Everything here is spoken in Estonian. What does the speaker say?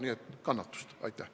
Nii et kannatust!